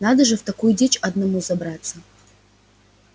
надо же в такую дичь одному забраться